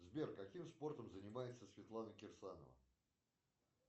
сбер каким спортом занимается светлана кирсанова